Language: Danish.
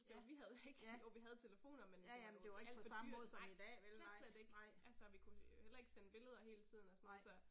Jo vi havde ikke, jo vi havde telefoner, men det var jo alt for dyrt, nej, slet slet ikke, altså vi kunne heller ikke sende billeder hele tiden og sådan noget så